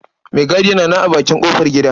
Maigadin yana nan a bakin ƙofargida.